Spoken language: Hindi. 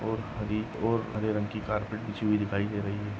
और हरी और हरे रंग की कार्पेट बिछी हुई दिखाई दे रही है।